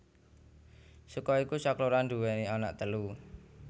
Saka iku sakloron nduwèni anak telu